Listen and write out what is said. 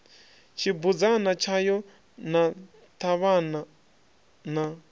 tshibudzana tshayo na ṱhavhana na